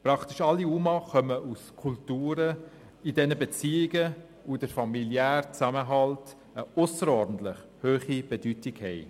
Praktisch alle UMA entstammen Kulturen, in denen Beziehungen und der familiäre Zusammenhalt eine ausserordentlich hohe Bedeutung haben.